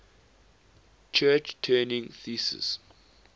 church turing thesis